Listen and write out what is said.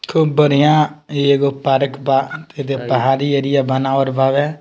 खूब बढ़िया इ एगो पार्क बा पहाड़ी एरिया बनावल बाड़े।